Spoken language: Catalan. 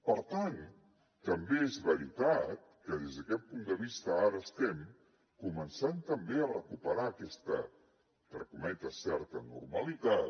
per tant també és veritat que des d’aquest punt de vista ara estem començant també a recuperar aquesta entre cometes certa normalitat